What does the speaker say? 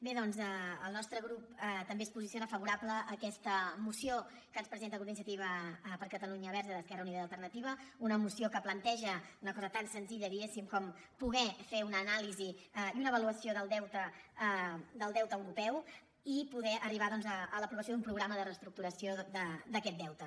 bé doncs el nostre grup també es posiciona favorablement a aquesta moció que ens presenta el grup d’iniciativa per catalunya verds esquerra unida i alternativa una moció que planteja una cosa tan senzilla diguéssim com poder fer una anàlisi i una avaluació del deute europeu i poder arribar a l’aprovació d’un programa de reestructuració d’aquest deute